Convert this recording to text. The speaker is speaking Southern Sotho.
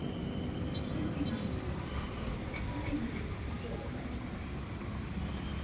le finnweng lefito o madimabe